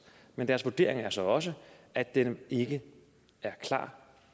men deres vurdering er så også at den ikke er klar